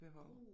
Behov